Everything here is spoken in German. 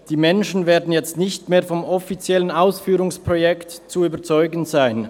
Die Menschen werden nicht mehr vom offiziellen Ausführungsprojekt zu überzeugen sein.